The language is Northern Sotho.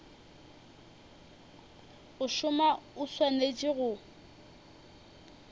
go šoma o swanetše go